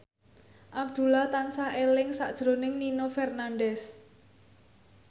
Abdullah tansah eling sakjroning Nino Fernandez